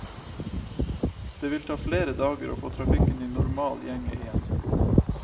Det vil ta flere dager å få trafikken i normal gjenge igjen.